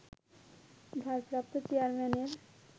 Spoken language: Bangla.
ভারপ্রাপ্ত চেয়ারম্যানের